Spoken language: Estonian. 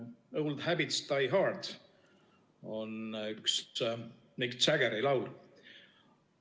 "Old Habits Die Hard" on üks Mick Jaggeri laul.